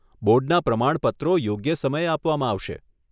બોર્ડના પ્રમાણપત્રો યોગ્ય સમયે આપવામાં આવશે.